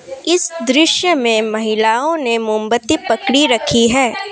इस दृश्य में महिलाओं ने मोमबत्ती पकड़ी रखी है।